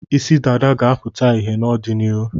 Isi dada ga-apụta ìhè n'ọdịnihu.